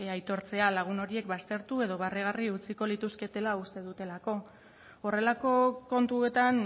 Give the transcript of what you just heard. aitortzea lagun horiek baztertu edo barregarri utziko lituzketela uste dutelako horrelako kontuetan